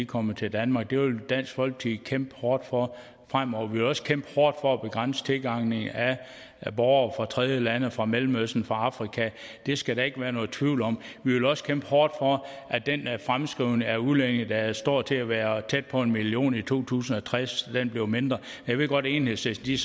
kommer til danmark det vil dansk folkeparti kæmpe hårdt for fremover vi vil også kæmpe hårdt for at begrænse tilgangen af borgere fra tredjelande fra mellemøsten fra afrika det skal der ikke være nogen tvivl om vi vil også kæmpe hårdt for at den fremskrivning af udlændinge der står til at være tæt på en million i to tusind og tres bliver mindre jeg ved godt at enhedslisten